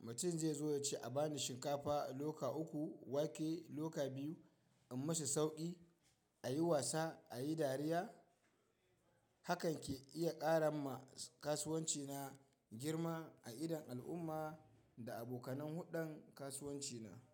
mutum zai zo ya ce a bani shinkafa a loka uku, wake loka biyu in musu sauƙi, a yi wasa a yi dariya. Hakan ke iya ƙara ma kasuwanci na girma a idon al'umma da abokanen huddan kasuwanci na.